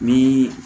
Ni